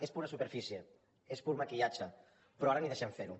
és pura superfície és pur maquillatge però ara ni deixem fer ho